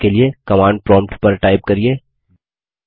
नियत कार्य के लिए कमांड प्रोम्प्ट पर टाइप करिये